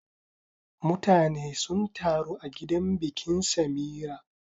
Mutane sun taru a gidan bikin Samira.